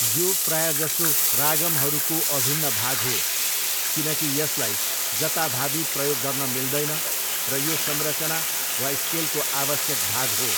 यो प्रायजसो रागम्हरूको अभिन्न भाग हो, किनकि यसलाई जताभावी प्रयोग गर्न मिल्दैन र यो संरचना वा स्केलको आवश्यक भाग हो।